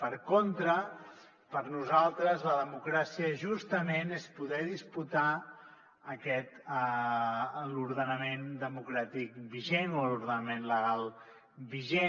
per contra per nosaltres la democràcia justament és poder disputar l’ordenament democràtic vigent o l’ordenament legal vigent